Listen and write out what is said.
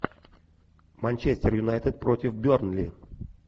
манчестер юнайтед против бернли